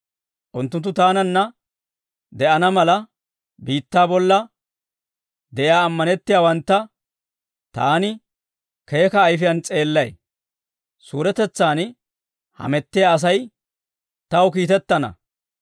Unttunttu taananna de'ana mala, biittaa bolla de'iyaa ammanettiyaawantta, taani keeka ayifiyaan s'eellay. Suuretetsan hamettiyaa Asay taw kiitettana.